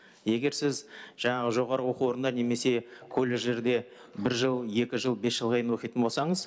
егер сіз жаңағы жоғарғы оқу орында немесе колледждерде бір жыл екі жыл бес жылға дейін оқитын болсаңыз